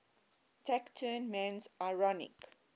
taciturn man's ironic